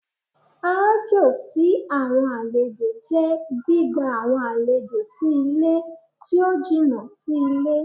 Aájò sí àwọn àlejò jẹ́ gbígba àwọn àlejò sí ilé tí ó jìnà sí ilé.